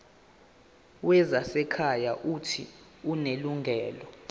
wezasekhaya uuthi unelungelo